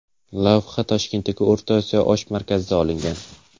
Lavha Toshkentdagi O‘rta Osiyo osh markazida olingan.